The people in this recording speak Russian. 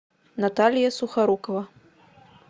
наталья сухорукова